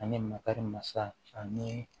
Ani makari masa ani